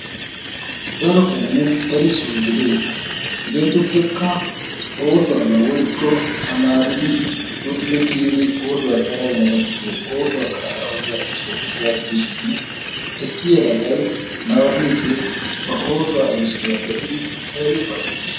Daro qommo erissoy de'ees. Hegeetuppekka oosuwaabaa woykko tamaaridi luxxidi kiyidi oosuwa xayidda yelagatussi oosuwa qaadaa oddiya errisoy issuwa gidishin issi yelagay nababiidi ba oosuwa errisuwa be'idi keehi ufayttis.